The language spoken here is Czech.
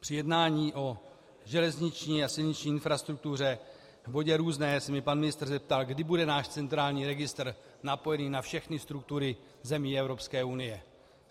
Při jednání o železniční a silniční infrastruktuře v bodě různé se mě pan ministr zeptal, kdy bude náš centrální registr napojený na všechny struktury zemí Evropské unie.